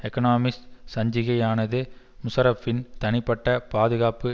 Economist சஞ்சிகையானது முஷாரப்பின் தனிப்பட்ட பாதுகாப்பு